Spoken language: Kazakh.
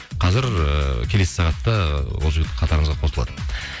қазір ыыы келесі сағатта ы ол жігіт қатарымызға қосылады